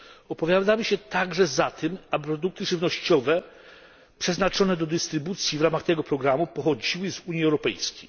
Opowiadamy się także za tym, aby produkty żywnościowe przeznaczone do dystrybucji w ramach tego programu pochodziły z Unii Europejskiej.